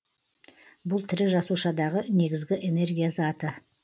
бұл тірі жасушадағы негізгі энергия заты